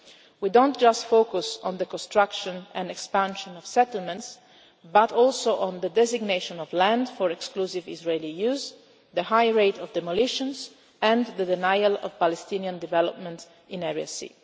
context. We focus not just on the construction and expansion of settlements but also on the designation of land for exclusive Israeli use, the high rate of demolitions and the denial of Palestinian development